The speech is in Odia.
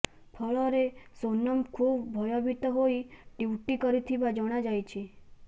ଫଳରେ ସୋନମ୍ ଖୁବ୍ ଭୟଭୀତ ହୋଇ ଟ୍ବିଟ୍ କରିଥିବା ଜଣାଯାଇଛି